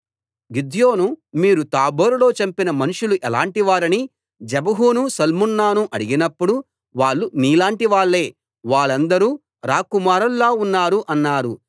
గిద్యోను మీరు తాబోరులో చంపిన మనుష్యులు ఎలాంటి వారని జెబహును సల్మున్నాను అడిగినప్పుడు వాళ్ళు నీలాంటివాళ్ళే వాళ్ళందరూ రాకుమారుల్లా ఉన్నారు అన్నారు